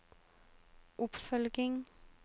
oppfølging